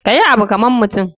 Kayi Abu kaman mutum.